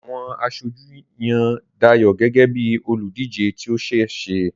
Àwọn aṣojú yan Dayo gẹ́gẹ́ bí olùdíje tí ó ṣe é ṣe.